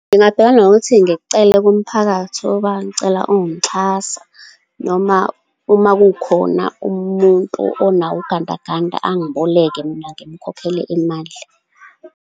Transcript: Ngingabhekana nokuthi ngikucele kumphakathi ngicela ungixhasa, noma uma kukhona umuntu onawo ugandaganda angiboleke, mina simukhokhele imali.